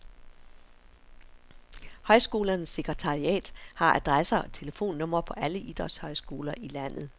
Højskolernes sekretariat har adresser og telefonnumre på alle idrætshøjskoler i landet.